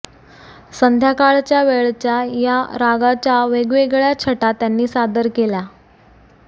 संध्याकाळच्या वेळच्या या रागाच्या वेगवेगळय़ा छटा त्यांनी सादर केल्या